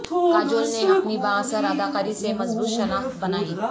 کاجول نے اپنی بااثر اداکاری سے مضبوط شناخت بنائی